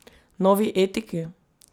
Novi etiki?